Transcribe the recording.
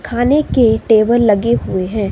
खाने के टेबल लगे हुए हैं।